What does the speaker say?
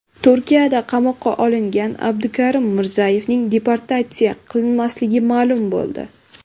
Turkiyada qamoqqa olingan Abdukarim Mirzayevning deportatsiya qilinmasligi ma’lum bo‘ldi.